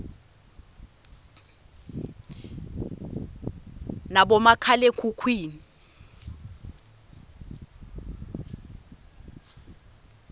nabomakhale khukhwini